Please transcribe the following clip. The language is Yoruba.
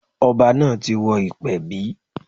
Ọba náà ti wọ ìpẹ̀bí.